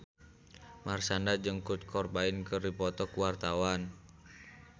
Marshanda jeung Kurt Cobain keur dipoto ku wartawan